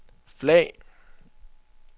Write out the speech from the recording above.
flag